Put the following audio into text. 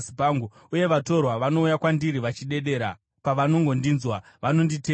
Uye vatorwa vanouya kwandiri vachidedera, pavanongondinzwa vanonditeerera.